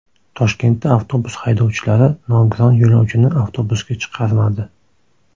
Toshkentda avtobus haydovchilari nogiron yo‘lovchini avtobusga chiqarmadi.